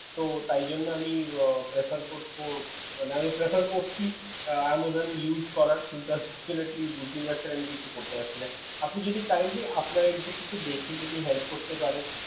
তো তাই জন্য আমি prefer করবো মানে আমি prefer করছি Amazon use করার কিন্তু আমি ঢুকতে পারছি না কিছু বুদ্ধি পাচ্ছি না আপনি যদি kindly আপনার id তে একটু দেখতেন যদি help করতে পারেন